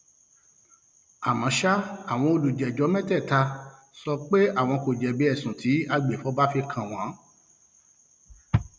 àmọ ṣá àwọn olùjẹjọ mẹtẹẹta sọ pé um àwọn kò jẹbi ẹsùn tí agbèfọba fi kàn wọn um